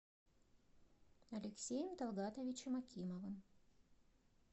алексеем талгатовичем акимовым